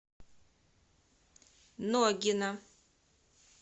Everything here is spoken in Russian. ногина